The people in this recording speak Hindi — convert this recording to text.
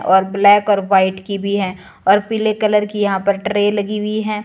और ब्लैक और व्हाइट की भी है और पीले कलर की यहां पर ट्रे लगी हुई है।